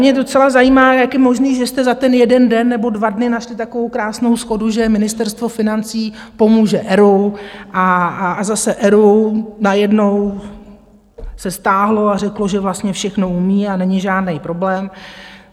Mě docela zajímá, jak je možné, že jste za ten jeden den nebo dva dny našli takovou krásnou shodu, že Ministerstvo financí pomůže ERÚ a zase ERÚ najednou se stáhlo a řeklo, že vlastně všechno umí a není žádný problém.